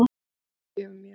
Hún fyrirgefur mér.